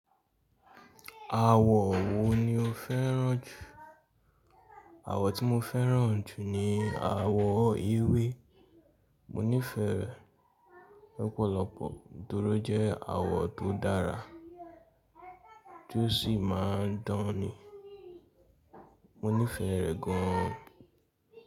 Àwọ̀ wo ni o fẹ́ràn jù? Àwọ̀ tí mo fẹ́ràn jù ni àwọ̀ ewé. Mo nífẹ̀ẹ́ rẹ̀ lopọ̀lọpọ̀ nítorí jẹ́ àwọ̀ tó dára tó sì máa ń dán ni. Mo nífẹ̀ẹ́ rẹ̀ gan-an.